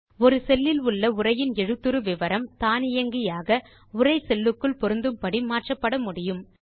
ஒரு செல் இல் உள்ள உரையின் எழுத்துரு விவரம் தானியங்கியாக உரை செல் க்குள் பொருந்தும் படி மாற்றப்பட முடியும்